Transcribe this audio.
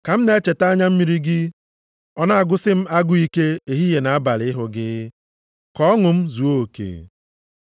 Ka m na-echeta anya mmiri gị, ọ na-agụsị m agụụ ike ehihie na abalị ịhụ gị, ka ọṅụ m zuo oke.